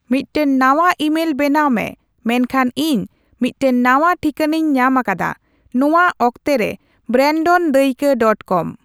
ᱢᱤᱫᱴᱟᱝ ᱱᱟᱶᱟ ᱤᱢᱮᱞ ᱵᱮᱱᱟᱣ ᱢᱮ ᱢᱮᱱᱠᱷᱟᱱ ᱤᱧ ᱢᱤᱫᱴᱟᱝ ᱱᱟᱶᱟ ᱴᱷᱤᱠᱟᱹᱱᱟᱹᱧ ᱧᱟᱢ ᱟᱠᱟᱫᱟ ᱱᱚᱶᱟ ᱚᱠᱛᱮ ᱨᱮ ᱵᱨᱮᱱᱰᱚᱱ ᱫᱟᱹᱭᱠᱟᱹ ᱰᱚᱴ ᱠᱚᱢ